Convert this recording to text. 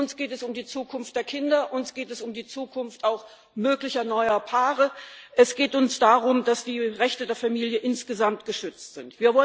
Uns geht es um die Zukunft der Kinder, uns geht es auch um die Zukunft möglicher neuer Paare, es geht uns darum, dass die Rechte der Familie insgesamt geschützt sind.